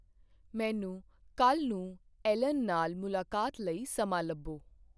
ਮੈਨੂੰ ਕੱਲ੍ਹ ਨੂੰ ਐਲਨ ਨਾਲ ਮੁਲਾਕਾਤ ਲਈ ਸਮਾਂ ਲੱਭੋ